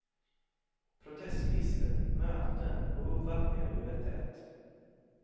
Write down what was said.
Protestlistor, möten och uppvaktningar duggar tätt.